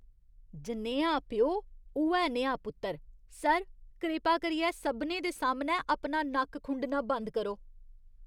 जनेहा प्यो, उ'ऐ नेहा पुत्तर। सर, कृपा करियै सभनें दे सामनै अपना नक्क खुंडना बंद करो।